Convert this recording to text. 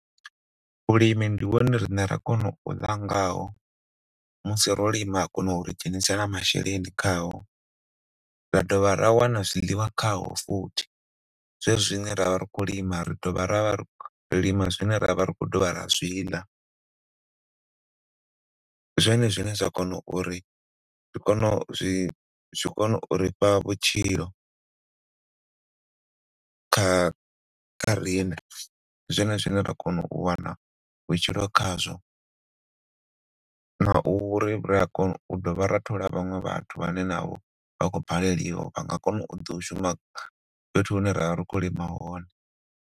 Vhulimi ndi hone riṋe ra kona u ḽa ngaho musi ro lima ha kona uri dzhenisela masheleni khao. Ra do vha ra wana zwiḽiwa khao futhi zwezwi zwine ra vha ri khou lima ri do vha ra vha ri khou lima zwine ra vha ri khou dovha ra zwiḽa zwone zwine zwa kona uri ri zwi kone uri fha vhutshilo kha kha riṋe zwone zwine ra kona u wana vhutshilo khazwo na uri ri a kona u dovha ra thola vhaṅwe vhathu vhane na vho vha khou baleliwa vha ngo kona u shuma fhethu hune ra vha khou lima hone.